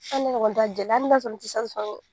Hali ɲɔgɔn t'a hali n'a bɛ sɔrɔ n tɛ se